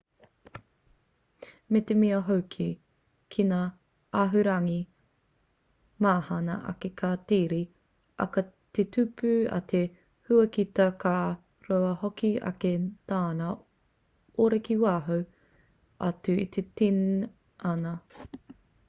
me te mea hoki ki ngā āhuarangi mahana ake ka tere ake te tupu a te huakita ka roa hoki ake tana ora ki waho atu i te tinana